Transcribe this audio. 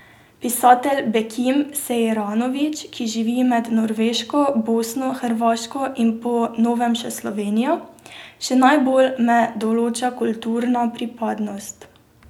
Pisatelj Bekim Sejranović, ki živi med Norveško, Bosno, Hrvaško in po novem še Slovenijo: 'Še najbolj me določa kulturna pripadnost.